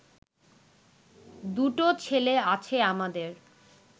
দুটো ছেলে আছে আমাদের